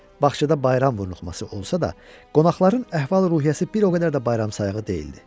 Bağçada bayram vurnuxması olsa da, qonaqların əhval-ruhiyyəsi bir o qədər də bayramsağa deyildi.